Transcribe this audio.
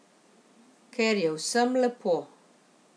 Ker je vsem lepo.